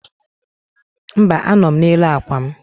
Mba, anọ m n'elu akwa m.